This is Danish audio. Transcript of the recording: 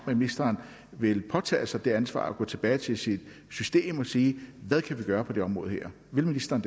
at ministeren vil påtage sig det ansvar at gå tilbage til sit system og sige hvad kan vi gøre på det område her vil ministeren